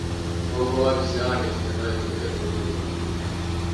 Kogũo wabici ya wandĩkithia no ĩhũthĩke kũgirĩrĩria ũndũ ũcio